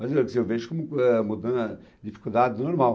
Mas eu que vejo como ah, mudando a dificuldade do normal.